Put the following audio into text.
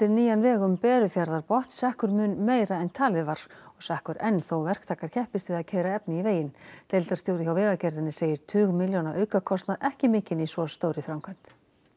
nýjan veg um Berufjarðarbotn sekkur mun meira en talið var og sekkur enn þó verktakar keppist við að keyra efni í veginn deildarstjóri hjá Vegagerðinni segir tugmilljóna aukakostað ekki mikinn í svo stórri framkvæmd